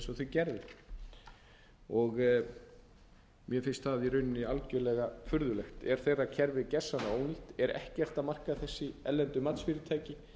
sem þau gerðu mér finnst það í rauninni algjörlega furðulegt er þeirra kerfi gjörsamlega ónýtt er ekkert að marka þessi erlendu matsfyrirtæki